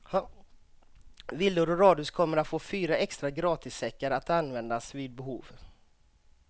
Villor och radhus kommer att få fyra extra gratissäckar att användas vid behov.